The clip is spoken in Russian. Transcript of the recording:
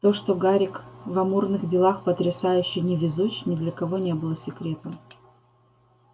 то что гарик в амурных делах потрясающе невезуч ни для кого не было секретом